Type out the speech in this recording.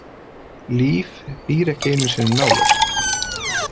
Líf býr ekki einu sinni nálægt.